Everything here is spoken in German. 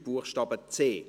Buchstabe c.